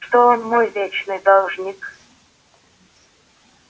что он мой вечный должник